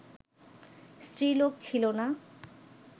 স্ত্রীলোক ছিল না